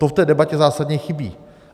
To v té debatě zásadně chybí.